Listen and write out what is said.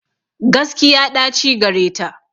Gaskiya ɗaci gareta.